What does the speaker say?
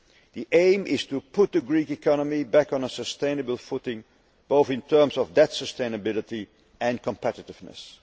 The aim is to put the Greek economy back on a sustainable footing, both in terms of debt sustainability and competitiveness.